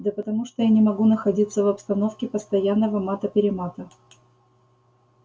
да потому что я не могу находиться в обстановке постоянного мата-перемата